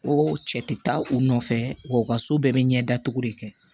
Ko cɛ tɛ taa u nɔfɛ wa u ka so bɛɛ bɛ ɲɛda cogo de kɛ